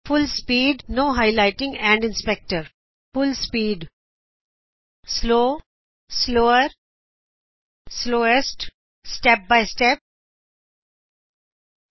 ਪੂਰੀ ਰਫਤਾਰ ਬਿਨਾ ਹਾਈਲਾਇਟ ਅਤੇ ਇਨਸਪੈਕਟਰ ਪੂਰੀ ਰਫਤਾਰ ਹੌਲੀ ਬਹੁਤ ਹੌਲੀ ਸਬ ਤੋ ਵੀ ਹੌਲੀ ਅਤੇ ਇਕ ਤੋਂ ਬਾਅਦ ਇਕ